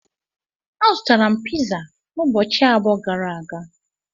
Azụtara m piza ụbọchị abụọ gara aga.